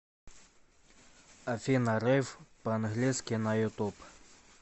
афина рейв по английски на ютуб